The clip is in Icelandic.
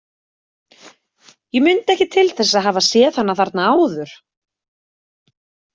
Ég mundi ekki til þess að hafa séð hana þarna áður.